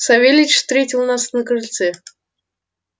савельич встретил нас на крыльце